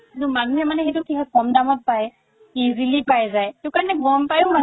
কিন্তু মানুহে মানে সেইটো ক'ম দামত পাই easily পাই যাই সেইটোকাৰণে গ'ম পাইও মানুহে